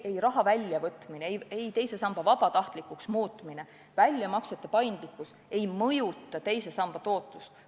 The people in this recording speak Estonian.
Ei raha väljavõtmine, teise samba vabatahtlikuks muutmine ega väljamaksete paindlikkus ei mõjuta teise samba tootlust.